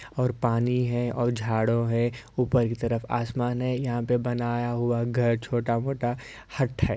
और पानी है और झाड़ो है ऊपर की तरफ आसमान है यहाँ पर बनाया हुआ घर छोटा-मोटा हट है।